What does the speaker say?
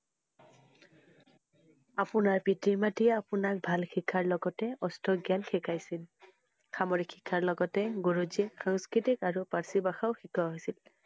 আপোনাৰ পিতৃ মাত্ৰীয়ে আপোনাক ভাল শিক্ষাৰ লগতে অষ্টজ্ঞান শিকাইছিল। সামৰিক শিক্ষাৰ লগতে গুৰুজীক সংস্কৃত আৰু পাৰ্ছী ভাষাও শিকোৱা হৈছিল।